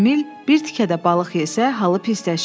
Emil bir tikə də balıq yesə, halı pisləşir.